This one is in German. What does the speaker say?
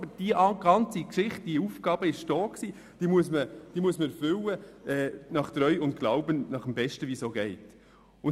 Aber diese Aufgabe hat bereits bestanden, und man muss diese nach Treu und Glauben bestmöglich erfüllen.